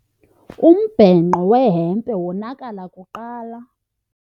Umbhenqo wehempe wonakala kuqala.